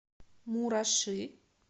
мураши